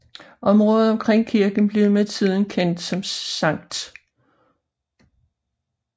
Området omkring kirken blev med tiden kendt som St